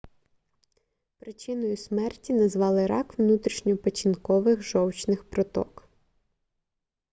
причиною смерті назвали рак внутрішньопечінкових жовчних проток